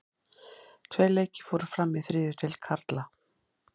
Tveir leikir fóru fram í þriðju deild karla.